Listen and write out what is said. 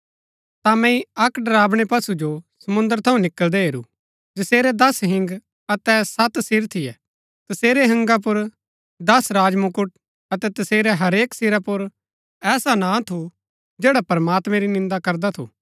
ता मैंई अक्क डरावनै पशु जो समुंद्र थऊँ निकळदै हेरू जसेरै दस हिंग अतै सत सिर थियै तसेरै हिंगा पुर दस राजमुकट अतै तसेरै हरेक सिरा पुर ऐसा नां थू जैड़ा प्रमात्मैं री निन्दा करदा थू